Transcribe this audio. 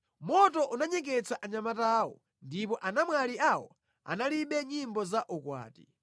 Moto unanyeketsa anyamata awo, ndipo anamwali awo analibe nyimbo za ukwati;